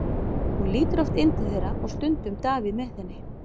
Hún lítur oft inn til þeirra og stundum Davíð með henni.